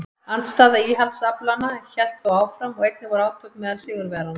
Andstaða íhaldsaflanna hélt þó áfram og einnig voru átök meðal sigurvegaranna.